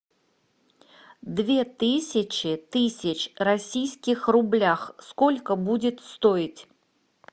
две тысячи тысяч российских рублях сколько будет стоить